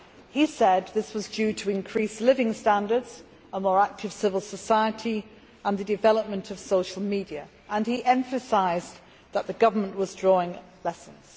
He said this was due to improved living standards, a more active civil society, and the development of social media, and he emphasised that the government was drawing lessons.